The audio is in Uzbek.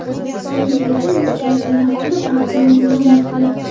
Ayni paytda inspeksiya rahbari Baxtiyor G‘ulomovdir.